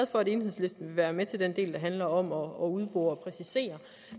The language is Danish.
for at enhedslisten vil være med til den del der handler om at udbore og præcisere